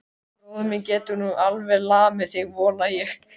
Bróðir minn getur nú alveg lamið þig, voga ég.